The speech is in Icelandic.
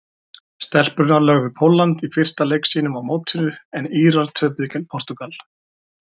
Stelpurnar lögðu Pólland í fyrsta leik sínum á mótinu en Írar töpuðu gegn Portúgal.